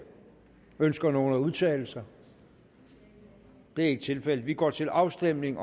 ønsker nogen at udtale sig det er ikke tilfældet vi går til afstemning